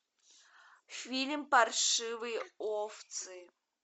фильм паршивые овцы